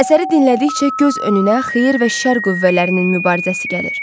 Əsəri dinlədikcə göz önünə xeyir və şər qüvvələrinin mübarizəsi gəlir.